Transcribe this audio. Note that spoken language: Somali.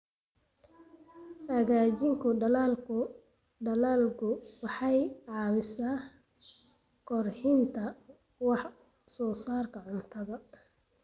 Hagaajinta dalaggu waxay caawisaa kordhinta wax soo saarka cuntada.